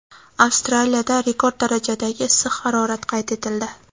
Avstraliyada rekord darajadagi issiq harorat qayd etildi.